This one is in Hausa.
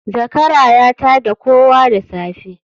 Zakara ya tadda kowa da safe